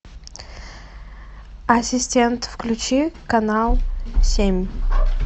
ассистент включи канал семь